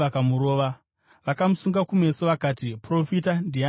Vakamusunga kumeso vakati, “Profita! Ndiani akurova?”